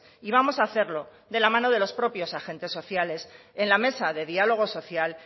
y vamos a hacerlo de la mano de los propios agentes sociales en la mesa de diálogo social